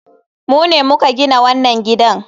Mu ne muka gina wannan gidan.